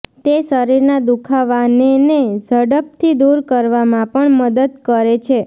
તે શરીરના દુખાવાનેને ઝડપથી દૂર કરવામાં પણ મદદ કરે છે